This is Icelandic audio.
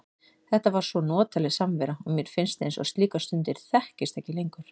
Þetta var svo notaleg samvera og mér finnst eins og slíkar stundir þekkist ekki lengur.